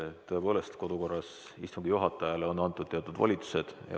Tõepoolest, kodukorras on istungi juhatajale antud teatud volitused.